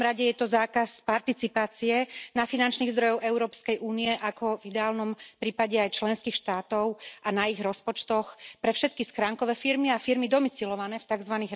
V prvom rade je to zákaz participácie na finančných zdrojoch Európskej únie, ako v ideálnom prípade aj členských štátov a na ich rozpočtoch, pre všetky schránkové firmy a firmy domicilované v tzv.